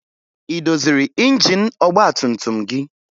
Ị doziri injin ọgbatumtum gị?